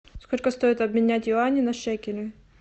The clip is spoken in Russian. сколько стоит обменять юани на шекели